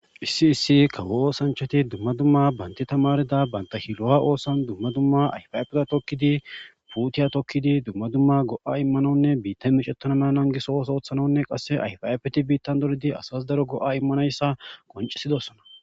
Issi issi kawo oossanchchati dumma dumma parte tamaarida banta shiloha oosuwan dumma dumma ayfa ayfeta tokkidi, puutiya tokkidi dumma dumma go'a immanawunne biittay meecetena mala nangiso ooso ooththetanawunne qasse ayfa ayfeti biittan dolidi asas daro go'a immanayssa qonccisidosona.